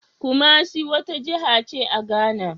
Kumasi wata jiha ce a Ghana.